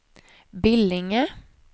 Billinge